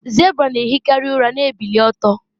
zebra na-ehikarị ụra na-ebili ọtọ